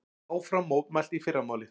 Áfram mótmælt í fyrramálið